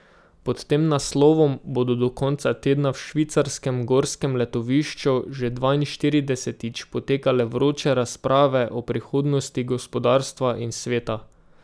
Pod tem naslovom bodo do konca tedna v švicarskem gorskem letovišču že dvainštiridesetič potekale vroče razprave o prihodnosti gospodarstva in sveta.